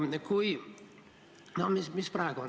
Mis meil praegu on?